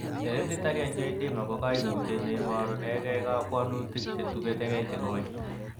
Hereditary angioedema ko koimutiet neiborunengei kobwonutik cheketukei cheng'oi.